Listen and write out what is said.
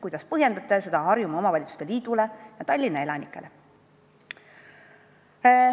Kuidas põhjendate seda Harjumaa Omavalitsuste Liidule ja Tallinna elanikele?